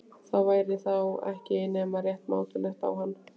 Það væri þá ekki nema rétt mátulegt á hann.